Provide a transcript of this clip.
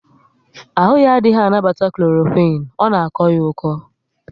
Ahụ ya adịghị anabata Kloroquine, ọ na akọ ya oko